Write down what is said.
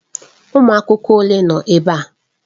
Ụmụ akwụkwọ ole nọ ebe a?